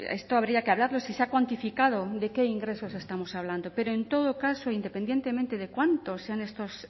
esto habría que hablarlo si se ha cuantificado de qué ingresos estamos hablando pero en todo caso independientemente de cuánto sean